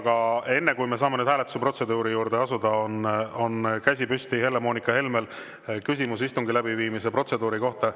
Aga enne, kui me saame nüüd hääletusprotseduuri juurde asuda, on käsi püsti Helle-Moonika Helmel, tal on küsimus istungi läbiviimise protseduuri kohta.